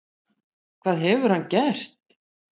Hvað hefur hann gert?